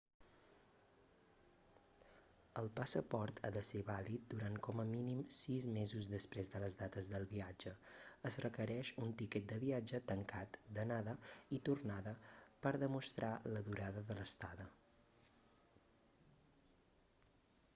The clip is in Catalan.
el passaport ha de ser vàlid durant com a mínim 6 mesos després de les dates del viatge. es requereix un tiquet de viatge tancat/d'anada i tornada per demostrar la durada de l'estada